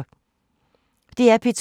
DR P2